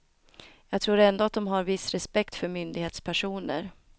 Jag tror ändå att de har viss respekt för myndighetspersoner.